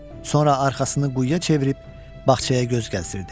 Sonra arxasını quyuya çevirib bağçaya göz gəzdirirdi.